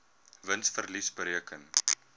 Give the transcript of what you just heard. wins verlies bereken